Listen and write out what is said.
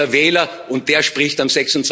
Es ist der Wähler, und der spricht am